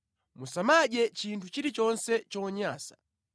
Musamadye chinthu chilichonse chonyansa.